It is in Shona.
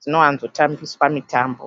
Dzinowanzotambiswa mitambo.